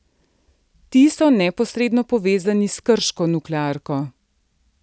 Ti so neposredno povezani s krško nuklearko.